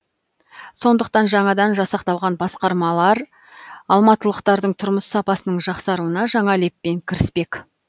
сондықтан жаңадан жасақталған басқармалар алматылықтардың тұрмыс сапасының жақсаруына жаңа леппен кіріспек